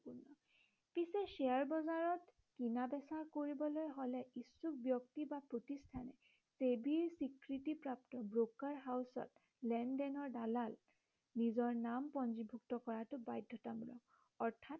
পিছে শ্বেয়াৰ বজাৰত কিনা বেচা কৰিবলৈ হলে ইচ্ছুক ব্য়ক্তি বা প্ৰতিষ্ঠানে ছেবীৰ স্বীকৃতি প্ৰাপ্ত brokerage ত লেনদেনৰ দালাল নিজৰ নাম পঞ্জীভুত কৰাটো বাধ্য়তামূলক অৰ্থাৎ